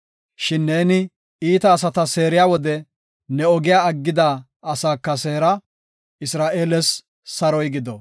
Shin neeni iita asata seeriya wode, ne ogiya aggida asaaka seera. Isra7eeles saroy gido.